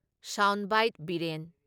Sound bite Biren.